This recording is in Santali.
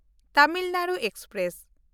ᱛᱟᱢᱤᱞ ᱱᱟᱰᱩ ᱮᱠᱥᱯᱨᱮᱥ